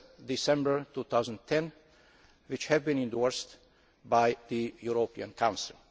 December 2010, which have been endorsed by the European Council.